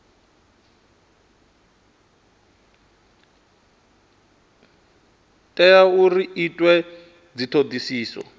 tea uri hu itwe dzithodisiso